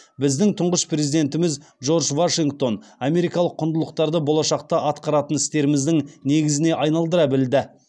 біздің тұңғыш президентіміз джордж вашингтон америкалық құндылықтарды болашақта атқаратын істеріміздің негізіне айналдыра білді